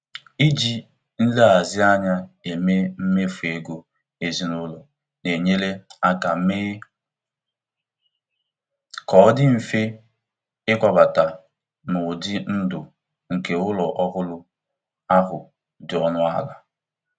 Iji nlezianya eme mmefu ego ezinụlọ na-enyere aka mee ka ọ dị mfe n'ịkwabata n'ụdị ndụ nke ụlọ ọhụrụ ahụ dị ọnụ ala.